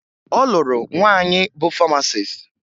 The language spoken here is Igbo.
Ọ lụrụ nwaanyị bụ famasis